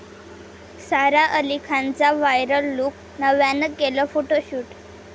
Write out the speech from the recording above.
सारा अली खानचा viral look, नव्यानं केलं फोटोशूट